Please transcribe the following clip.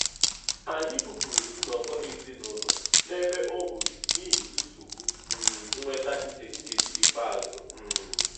Anyị bupụrụ nnọkọ ezinụlọ n'ebe ọhụrụ n'ihi nsogbu um nnweta nke nkeji ikpeazụ. um